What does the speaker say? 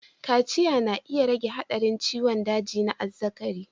Kaciya na iya rage haɗarin ciwon daji na azzakari.